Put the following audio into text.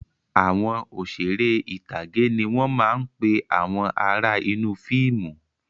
Àwọn Òṣeré ìtàgé ni wọn máa ń pe àwọn ará inú fíìmù